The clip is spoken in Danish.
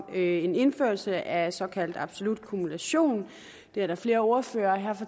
en indførelse af såkaldt absolut kumulation det er der flere ordførere